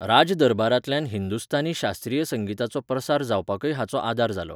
राज दरबारांतल्यान हिंदुस्थानी शास्त्रीय संगीताचो प्रसार जावपाकय हाचो आदार जालो.